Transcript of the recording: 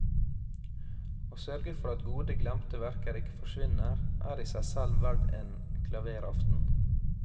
Å sørge for at gode glemte verker ikke forsvinner, er i seg selv verd en klavèraften.